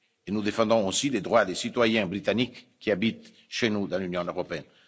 Nous défendons aussi les droits des citoyens britanniques qui habitent chez nous, dans l'Union européenne.